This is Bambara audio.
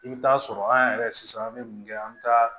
I bɛ taa sɔrɔ an yɛrɛ sisan an bɛ mun kɛ an bɛ taa